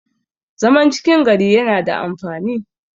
zaman cikin gari yana da amfani